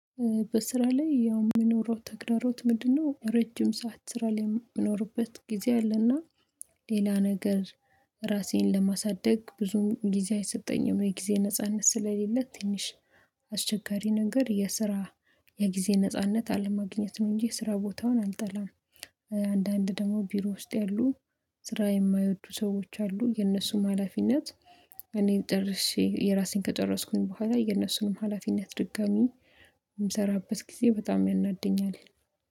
በስራ ላይ ያው የምኖረው ተግራሮት ምንድነው? ረጅም ሰዓት ስራ ላይ የምኖርበት ጊዜ አለና ሌላ ነገር ራሴን ለማሳደግ ብዙም ጊዜ አይሰጠኝም። የጊዜ ነጻነት ስለሌለ ትንሽ አስቸጋሪ ነገር የስራ የጊዜ ነጻነት አለማግኘት ነው። እንጂ ስራ ቦታውን አልጠላም። አንዳንድ ደግሞ ቢሮ ውስጥ ያሉ ስራ የማይወዱ ሰዎች አሉ የነሱም ሀላፊነት። እኔ ደርሼ የራሴን ከጨረስኩኝ በኋላ የነሱንም ሀላፊነት ድጋሚ የምሰራበት ጊዜ በጣም ያናደኛል